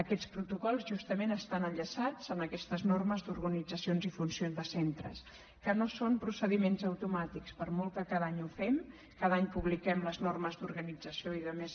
aquests protocols justament estan enllaçats amb aquestes normes d’organitzacions i funcions de centres que no són procediments automàtics per molt que cada any ho fem cada any publiquem les normes d’organització i altres